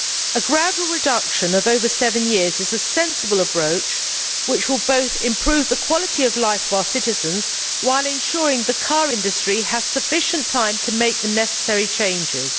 A gradual reduction of over seven years is a sensible approach which will both improve the quality of life for our citizens while ensuring the car industry has sufficient time to make the necessary changes.